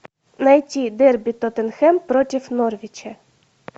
найти дерби тоттенхэм против норвича